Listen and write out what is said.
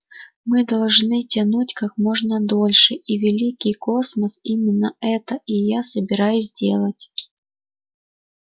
мы должны тянуть как можно дольше и великий космос именно это и я собираюсь делать